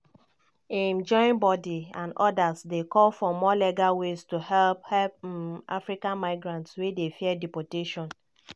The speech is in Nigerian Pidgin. im joinbodi and odas dey call for more legal ways to help help um african migrants wey dey fear deportation.